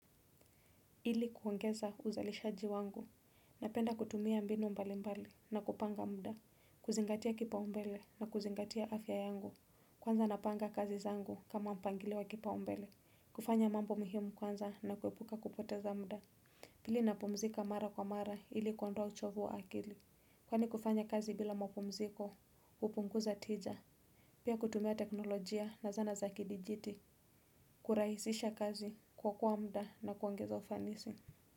Ili kuongeza uzalishaji wangu, napenda kutumia mbinu mbali mbali na kupanga mda, kuzingatia kipa umbele na kuzingatia afya yangu, kwanza napanga kazi zangu kama mpangiliowa kipa umbele, kufanya mambo muhimu kwanza na kuepuka kupoteza mda. Pili napumzika mara kwa mara ili kuondoa uchovu wa akili, kwani kufanya kazi bila mapumziko, upunguza tija, pia kutumia teknolojia na zana za kidijiti, kuraisisha kazi, kuokoa mda na kuongeza ufanisi.